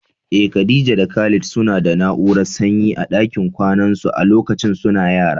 Eh, Khadija da Khalid suna da na'urar sanyi a dakin kwanan su a lokacin suna yara.